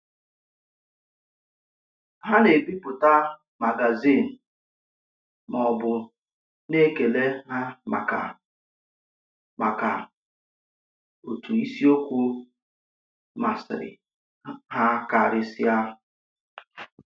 Ha na-èbipụta magazin ma ọ̀ bụ na-ekèle ha maka maka otu isiokwu masịrị ha karịsịa.